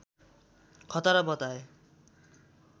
खतरा बताए